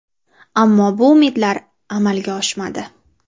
Ammo bu umidlar amalga oshmadi.